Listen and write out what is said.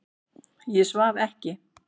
Ég svaf ekki.